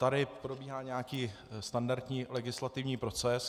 Tady probíhá nějaký standardní legislativní proces.